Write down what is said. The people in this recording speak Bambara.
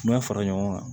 N'a fara ɲɔgɔn kan